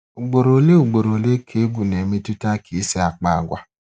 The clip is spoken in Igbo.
Ugboro ole Ugboro ole ka egwu na-emetụta ka I si akpa agwa.